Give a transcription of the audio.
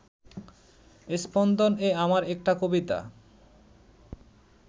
স্পন্দন-এ আমার একটা কবিতা